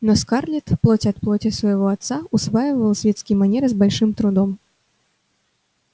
но скарлетт плоть от плоти своего отца усваивала светские манеры с большим трудом